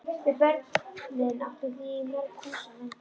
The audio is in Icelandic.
Við börnin áttum því í mörg hús að venda.